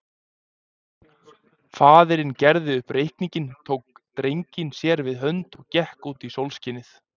Faðirinn gerði upp reikninginn, tók drenginn sér við hönd og gekk út í sólskinið.